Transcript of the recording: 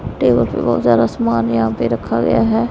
Table पर बहोत सारा सामान यहां पे रखा गया है।